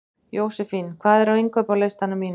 Jósefín, hvað er á innkaupalistanum mínum?